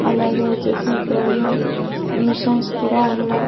అలాగే వచ్చేసి ఇక్కడ అన్ని మిషన్స్ కూడా ఉన్నాయి.